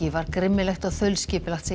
var grimmilegt og þaulskipulagt segir